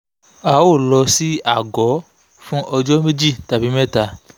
a ò lọ sí àgọ́ fún ọjọ́ méjì tàbí mẹ́ta